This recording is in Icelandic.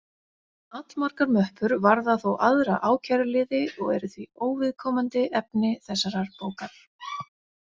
Allmargar möppur varða þó aðra ákæruliði og eru því óviðkomandi efni þessarar bókar.